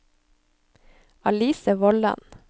Alice Vollan